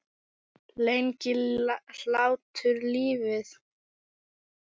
Lengir hlátur lífið?